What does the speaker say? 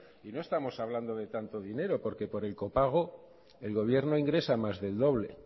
y no estamos hablando de tanto dinero porque por el copago el gobierno ingresa más del doble